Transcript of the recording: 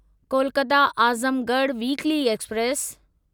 Kolkata Azamgarh weekly express